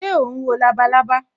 Ṣé o ń wo labalábá